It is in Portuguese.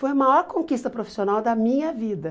Foi a maior conquista profissional da minha vida.